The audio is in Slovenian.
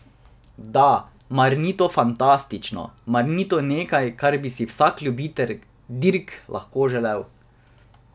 Da, mar ni to fantastično, mar ni to nekaj, kar bi si vsak ljubitelj dirk lahko le želel?